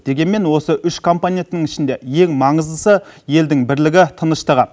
дегенмен осы үш компоненттің ішінде ең маңыздысы елдің бірлігі тыныштығы